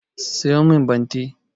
A siyo min bante